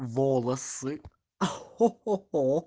волосы хо-хо-хо